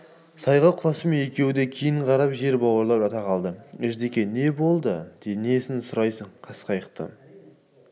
сайға құласымен екеуі де кейін қарап жер бауырлап жата қалды ждеке не болды несін сұрайсың қасқайтты